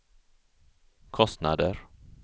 kostnader